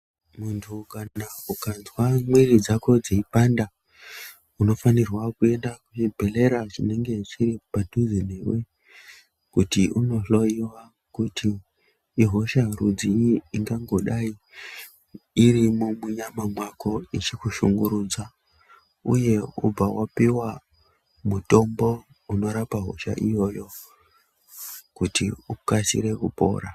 Muntu kana ukanzwa mwiri dzako dzeipanda unofanirwa kuenda pachibhedhlera chinenge chiri padhuze newe kuti unohloyiwa kuti ihosha rudzii ingangodai irimwo munyama mwako ichikushungurudza uye kubva wapiwa mutombo unorapa hosha iyoyo kuti ukasire kupora.